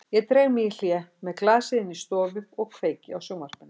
Ég dreg mig í hlé með glasið inn í stofu og kveiki á sjónvarpinu.